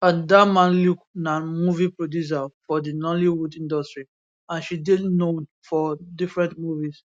adanma luke na movie producer for di nollywood industry and she dey known for different movies